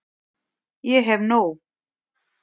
Ég hef nóg.